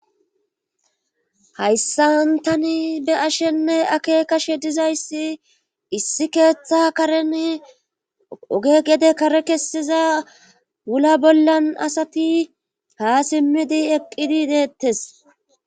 hayssan tani be'ashenne akekashe dizayssi issi keeththa karen oge gede kare kessiza wula bollan asati haa simmidi eqqidi deettes